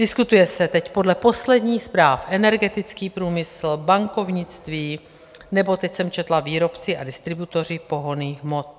Diskutuje se teď podle posledních zpráv energetický průmysl, bankovnictví nebo, teď jsem četla, výrobci a distributoři pohonných hmot.